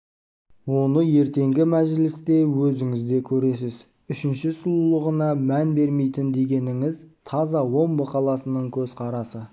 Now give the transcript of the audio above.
оны ертеңгі мәжілісте өзіңіз де көресіз үшінші сұлулығына мән бермейтін дегеніңіз таза омбы қаласының көзқарасы